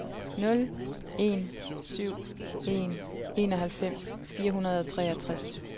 nul en syv en enoghalvfems fire hundrede og treogtres